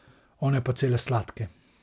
One pa cele sladke.